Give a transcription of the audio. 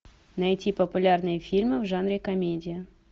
найти популярные фильмы в жанре комедия